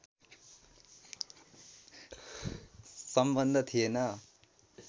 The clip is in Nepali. सम्बन्ध थिएन